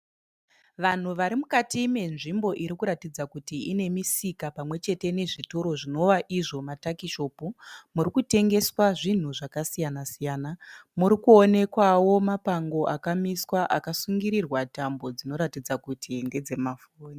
Vanhu vari mukati menzvimbo irikuratidza ine misika pamwe chete nezvitoro zvinovaizvo matakishopu murikutengeswa zvinhu zvakasiyana-siyana murikuonekwawo mapango akamiswa akasungirirwa tambo dzinoratidza kuti ndedzemafoni.